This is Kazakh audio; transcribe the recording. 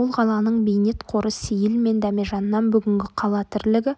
ол қаланың бейнетқоры сейіл мен дәмежаннан бүгінгі қала тірлігі